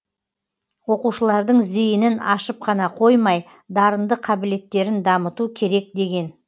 оқушылардың зейінін ашып қана қоймай дарынды қабілеттерін дамыту керек деген